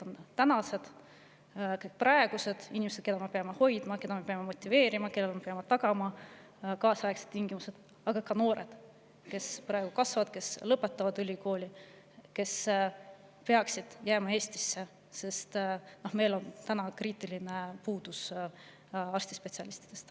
On praegused, keda me peame hoidma, keda me peame motiveerima ja kellele me peame tagama kaasaegsed tingimused, aga ka noored, kes praegu kasvavad, kes lõpetavad ülikooli ja kes peaksid jääma Eestisse, sest meil on kriitiline puudus spetsialistidest.